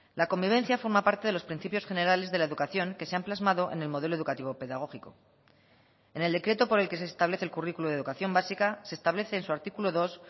la convivencia forma parte de los principios generales de la educación que se han plasmado en el modelo educativo pedagógico en el decreto por el que se establece el currículo de educación básica se establece en su artículo dos